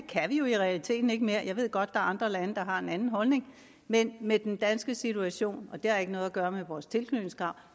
jo i realiteten ikke mere jeg ved godt at er andre lande der har en anden holdning men med den danske situation og det har ikke noget at gøre med vores tilknytningskrav